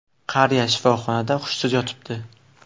Qariya shifoxonada hushsiz yotibdi.